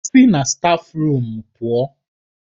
Sì na stáfruum!